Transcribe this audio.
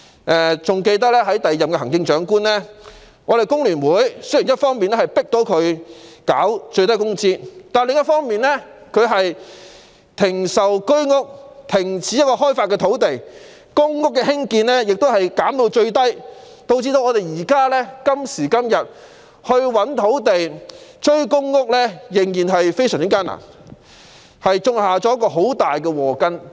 我猶記得在第二任行政長官在任時，雖然工聯會成功迫使他落實最低工資，但他卻停售居者有其屋單位、停止開發土地，並將公屋的興建量減至最低，以致今天覓地追趕公屋的興建量仍然困難重重。